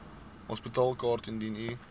hospitaalkaart indien u